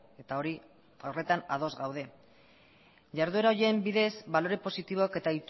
eta hori horretan ados gaude jarduera horien bidez balore positiboak eta